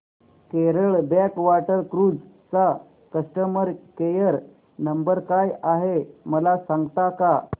Kerala backwater cruise चा customer care number काय आहे मला सांगता का